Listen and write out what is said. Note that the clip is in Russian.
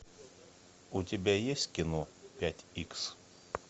у тебя есть кино пять икс